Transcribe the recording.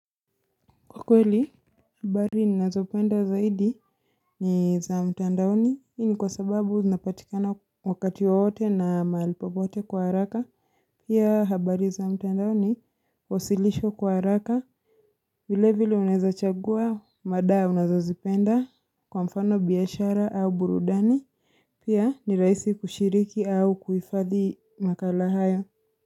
Kwa kweli, habari ninazopenda zaidi ni za mtandaoni, hii ni kwa sababu zina patikana wakati wowote na mahali popote kwa haraka. Pia habari za mtandaoni, huwasishwa kwa haraka. Vile vile unwwza chagua, madaa unazazipenda kwa mfano biashara au burudani. Pia ni raisi kushiriki au kuifadhi makala hayo.